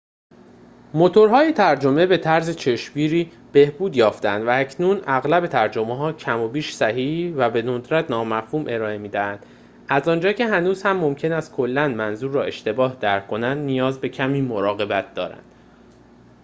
موتورهای ترجمه به طرز چشمگیری بهبود یافته اند، و اکنون اغلب ترجمه های کم و بیش صحیحی و به ندرت نامفهوم ارائه می دهند، از آنجا که هنوز هم ممکن است کلا منظور را اشتباه درک کنند، نیاز به کمی مراقبت دارند